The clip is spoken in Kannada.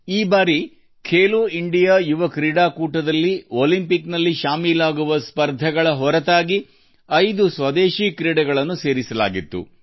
ಉದಾಹರಣೆಗೆ ಖೇಲೋ ಇಂಡಿಯಾ ಯೂತ್ ಗೇಮ್ಸ್ನಲ್ಲಿ ಒಲಿಂಪಿಕ್ಸ್ನಲ್ಲಿರುವ ವಿಭಾಗಗಳ ಜೊತೆ ಐದು ದೇಶೀಯ ಕ್ರೀಡೆಗಳನ್ನು ಈ ಬಾರಿ ಸೇರಿಸಲಾಗಿದೆ